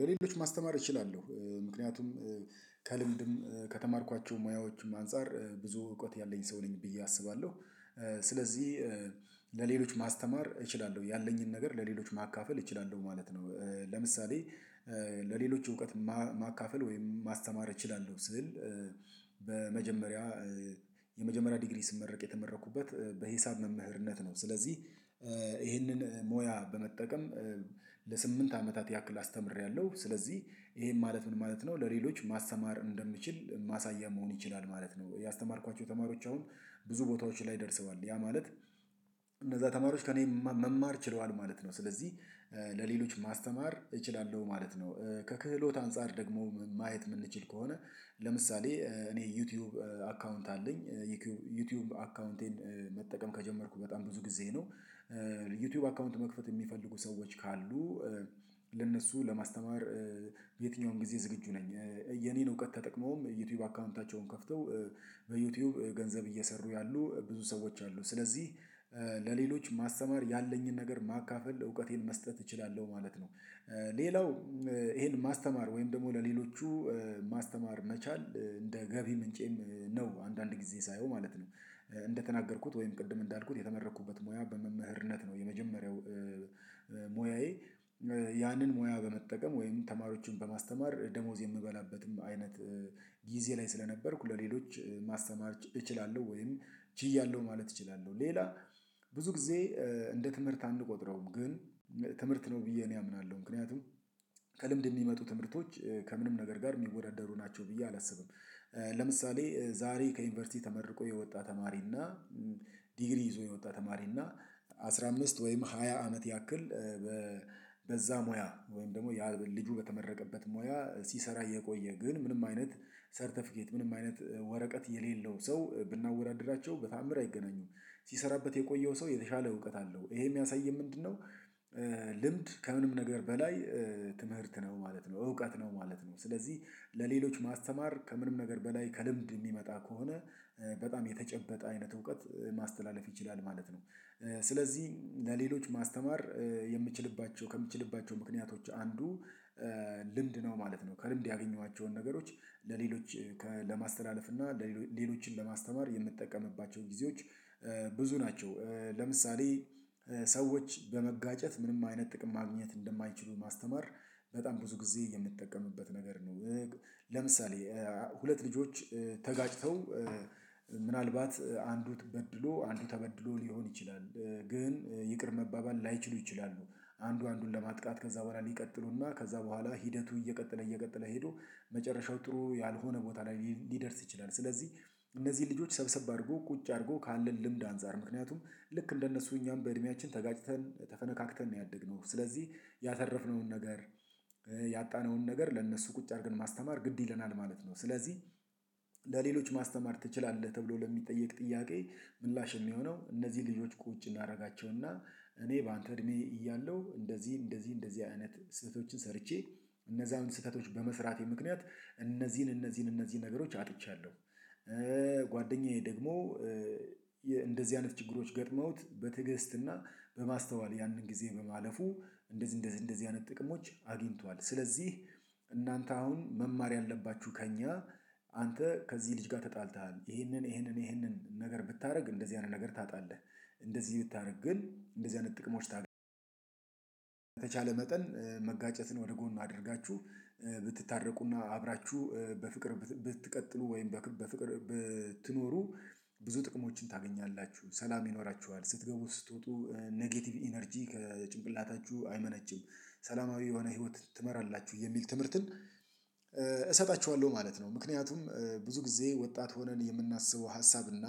ለሌሎች ማስተማር እችላለሁ ምክንያቱም ከልምድም ከተማርኳቸው ሙያዎችም አንፃር ብዙ እውቀት ያለኝ ሰው ነኝ ብዬ አስባለሁ ስለዚህ ለሌሎች ማስተማር እችላለሁ ያለኝን ነገር ለሌሎች ማካፈል እችላለሁ ማለት ነው ለምሳሌ ለሌሎች እውቀት ማካፈል ወይም ማስተማር እችላለሁ ስዕል በመጀመሪያ የመጀመሪያ ዲግሪ ስመረቅ የተመረኩበት በሂሳብ መምህርነት ነው ስለዚህ ይህንን ሞያ በመጠቀም ለስምንት አመታት ያክል አስተምሬያለሁ ስለዚህ ይሄን ማለት ምን ማለት ነው ለሌሎች ማስተማር እንደምችል ማሳያ መሆን ይችላል ማለት ነው ያስተማርኳቸው ተማሪዎች አሁን ብዙ ቦታዎች ላይ ደርሰዋል ያ ማለት ተማሪዎች ከእኔ መማር ችለዋል ማለት ነው ስለዚህ ለሌሎች ማስተማር እችላለሁ ማለት ነው ከክህሎት አንፃር ደግሞ ማየት የምንችል ከሆነ ለምሳሌ እኔ ዩቲዩብ አካውንት አለኝ ዩቲዩብ አካውንቴን መጠቀም ከጀመርኩ በጣም ብዙ ጊዜ ነው ዩቲዩብ አካውንት መክፈት የሚፈልጉ ሰዎች ካሉ ለእነሱ ለማስተማር የትኛውን ጊዜ ዝግጁ ነኝ የኔን እውቀት ተጠቅመውም ዩቲዩብ አካውንታቸውን ከፍተው በዩቲዩብ ገንዘብ እየሰሩ ያሉ ብዙ ሰዎች አሉ ስለዚህ ለሌሎች ማስተማር ያለኝን ነገር ማካፈል እውቀቴን መስጠት እችላለሁ ማለት ነው ሌላው ይሄን ማስተማር ወይም ደግሞ ለሌሎቹ ማስተማር መቻል እንደ ገቢ ምንጬም ነው አንዳንድ ጊዜ ሳየው ማለት ነው እንደተናገርኩት ወይም ቅድም እንዳልኩት የተመረኩበት ሙያ በመምህርነት ነው የመጀመሪያው ሙያዬ ያንን ሙያ በመጠቀም ወይም ተማሪዎችን በማስተማር ደሞዝ የምበላበትም አይነት ጊዜ ላይ ስለነበርኩ ለሌሎች ማስተማር እችላለሁ ወይም ችያለሁ ማለት እችላለሁ ሌላው ብዙ ጊዜ እንደ ትምህርት አንቆጥረውም ግን ትምህርት ነው ብዬ እኔ አምናለሁ ምክንያቱም ከልምድ የሚመጡ ትምህርቶች ከምንም ነገር ጋር የሚወዳደሩ ናቸው ብዬ አላስብም ለምሳሌ ዛሬ ከዩኒቨርሲቲ ተመርቆ የወጣ ተማሪና ዲግሪ ይዞ የወጣ ተማሪና አስራ አምስት ወይም ሃያ አመት ያክል በ በዛ ሙያ ወይም ደግሞ ያ ልጁ በተመረቀበት ሙያ ሲሰራ የቆየ ግን ምንም አይነት ሰርተፊኬት ምንም አይነት ወረቀት የሌለው ሰው ብናወዳድራቸው በተአምር አይገናኙም ሲሰራበት የቆየው ሰው የተሻለ እውቀት አለው ይሄ የሚያሳየው ምንድነው ልምድ ከምንም ነገር በላይ ትምህርት ነው ማለት ነው እውቀት ነው ማለት ነው ስለዚህ ለሌሎች ማስተማር ከምንም ነገር በላይ ከልምድ የሚመጣ ከሆነ በጣም የተጨበጠ አይነት እውቀት ማስተላለፍ ይችላል ማለት ነው ስለዚህ ለሌሎች ማስተማር የምችልባቸው ከምችልባቸው ምክንያቶች አንዱ ልምድ ነው ማለት ነው ከልምድ ያገኟቸውን ነገሮች ለሌሎች ለማስተላለፍ እና ለሌሎችን ለማስተማር የምትጠቀምባቸውን ጊዜዎች ብዙ ናቸው ለምሳሌ ሰዎች በመጋጨት ምንም አይነት ጥቅም ማግኘት እንደማይችሉ ማስተማር በጣም ብዙ ጊዜ የምጠቀምበት ነገር ነው ለምሳሌ ሁለት ልጆች ተጋጭተው ምናልባት አንዱ ተበድሎ አንዱ ተበድሎ ሊሆን ይችላል ግን ይቅር መባበል ላይችሉ ይችላሉ አንዱ አንዱን ለማጥቃት ከዛ በኋላ ሊቀጥሉና ከዛ በኋላ ሂደቱ እየቀጠለ እየቀጠለ ሄዶ መጨረሻው ጥሩ ያልሆነ ቦታ ላይ ሊደርስ ይችላል ስለዚህ እነዚህ ልጆች ሰብሰብ አድርጎ ቁጭ አድርጎ ካለን ልምድ አንፃር ምክንያቱም ልክ እንደነሱ እኛም በእድሜያችን ተጋጭተን ተፈነካክተን ነው ያደግነው ስለዚህ ያተረፍነውን ነገር ያጣነውን ነገር ለእነሱ ቁጭ አድርገን ማስተማር ግድ ይለናል ማለት ነው ስለዚህ ለሌሎች ማስተማር ትችላለህ? ተብሎ ለሚጠየቅ ጥያቄ ምላሽ የሚሆነው እነዚህ ልጆች ቁጭ እናደርጋቸውና እኔ በአንተ እድሜ እያለሁ እንደዚህ እንደዚህ አይነት ስህተቶችን ሰርቼ እነዛን ስህተቶች በመስራቴ ምክንያት እነዚህን እነዚህን እነዚህን ነገሮች አጥቻለሁ ጓደኛዬ ደግሞ እንደዚህ አይነት ችግሮች ገጥመውት በትዕግስትና በማስተዋል ያንን ጊዜ በማለፉ እንደዚህ እንደዚህ እንደዚህ አይነት ጥቅሞች አግኝቷል ስለዚህ እናንተ አሁን መማር ያለባችሁ ከእኛ አንተ ከዚህ ልጅ ጋር ተጣልተሃል ይሄንን ይሄንን ይሄንን ነገር ብታደርግ እንደዚህ አይነት ነገር ታጣለህ እንደዚህ ብታደርግ ግን እንደዚህ አይነት ጥቅሞች ታገኛለህ በተቻለ መጠን መጋጨትን ወደ ጎን አድርጋችሁ ብትታረቁና አብራችሁ በፍቅር ብትቀጥሉ ወይም በፍቅር ብትኖሩ ብዙ ጥቅሞችን ታገኛላችሁ ሰላም ይኖራችኋል ስትገቡ ስትወጡ ኔጌቲቭ ኢነርጂ ከጭንቅላታችሁ አይመነጭም ሰላማዊ የሆነ ህይወት ትመራላችሁ የሚል ትምህርትን እሰጣቸዋለሁ ማለት ነው ምክንያቱም ብዙ ጊዜ ወጣት ሆነን የምናስበው ሀሳብ እና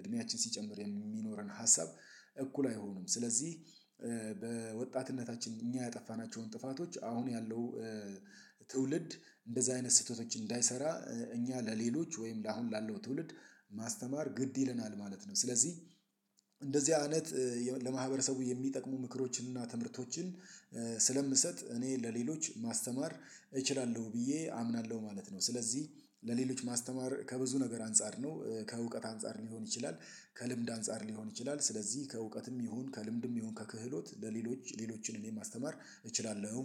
እድሜያችን ሲጨምር የሚኖረን ሀሳብ እኩል አይሆንም ስለዚህ በወጣትነታችን እኛ ያጠፋናቸውን ጥፋቶች አሁን ያለው ትውልድ እንደዚህ አይነት ስህተቶች እንዳይሰራ እኛ ለሌሎች ወይም ለአሁን ላለው ትውልድ ማስተማር ግድ ይለናል ማለት ነው ስለዚህ እንደዚህ አይነት ለማህበረሰቡ የሚጠቅሙ ምክሮችንና ትምህርቶችን ስለምሰጥ እኔ ለሌሎች ማስተማር እችላለሁ ብዬ አምናለሁ ማለት ነው ስለዚህ ለሌሎች ማስተማር ከብዙ ነገር አንፃር ነው ከእውቀት አንፃር ሊሆን ይችላል ከልምድ አንፃር ሊሆን ይችላል ስለዚህ ከእውቀትም ይሁን ከልምድም ይሁን ከክህሎት ለሌሎች ሌሎችን እኔ ማስተማር እችላለሁ